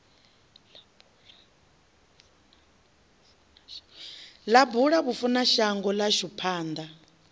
ḽa bula vhafunashango ḽashu panḓa